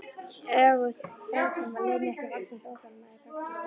Öguð framkoma leynir ekki vaxandi óþolinmæði gagnvart mér.